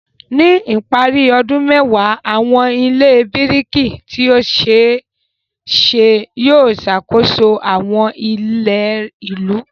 Ní ìparí ọdún mẹ́wàá, àwọn ilé biriki tí ó ṣe é ṣe yóò ṣàkóso àwọn ilẹ̀ ìlú.